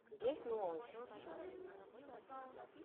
есть новый